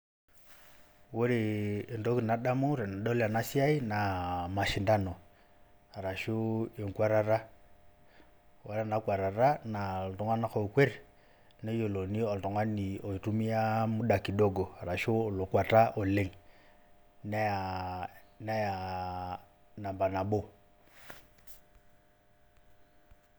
Ore entoki nadamu tenadol ena siai naa mashindano arashu enguatata. Ore ena kuatata aa iltunganak oo kuet neyiolouni oltungani oitumiya muda kidogo arashu olokuata oleng' neyaa namba nabo.